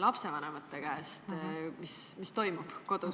lapsevanemate käest, mis kodus toimub?